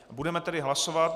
Budeme tedy hlasovat.